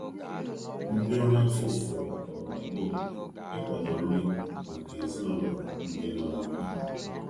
Ndi ọrụ afọ ọfufo gbakọrọ na ogbo obodo ị kwado nri maka ezinulo ndi nọ na mkpa